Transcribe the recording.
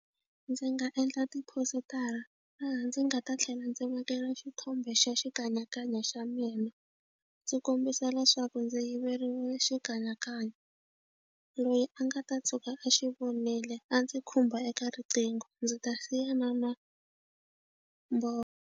Ndzi nga endla tiphositara laha ndzi nga ta tlhela ndzi vekela xithombe xa xikanyakanya xa mina ndzi kombisa leswaku ndzi yiveriwile xikanyakanya loyi a nga ta tshuka a xi vonile a ndzi khumba eka riqingho ndzi ta siya na namboro.